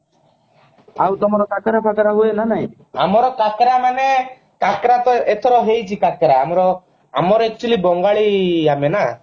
ଆଉ ତମର କାକରା ଫାକରା ହୁଏ ନା ନାହିଁ ଆମର କାକରା ମାନେ କାକରା ତ ଏଥର ହେଇଛି କାକରା ଆମର ଆମର actually ବଙ୍ଗାଳୀ ଆମେ ନା